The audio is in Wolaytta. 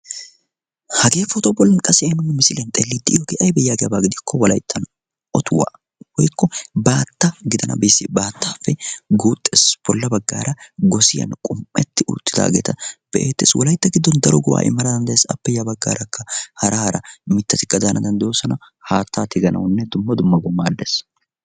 hagee pootuwaa bolli ha'i nuuni misiliyaan xeelliidi de'iyoogee aybee giikko wolayttan otuwaa woykko baatta gidana bessiyaa baattaappe guuxxees. battaappe bolla baggaara gosiyaan qum"etti uttidaageta be'eettees. wolaytta giddon daro go"aa immana danddayees. appe ya baggaara hara hara mittati daana danddayoosona. haattaa tiganawunne dumm dummabawu maaddees.